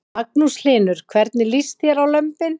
Magnús Hlynur: Hvernig líst þér á lömbin?